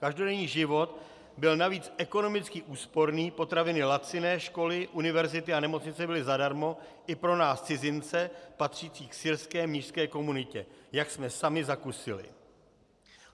Každodenní život byl navíc ekonomicky úsporný, potraviny laciné, školy, univerzity a nemocnice byly zadarmo i pro nás cizince patřící k syrské mnišské komunitě, jak jsme sami zakusili."